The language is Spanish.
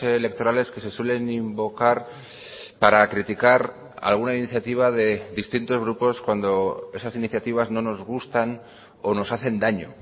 electorales que se suelen invocar para criticar alguna iniciativa de distintos grupos cuando esas iniciativas no nos gustan o nos hacen daño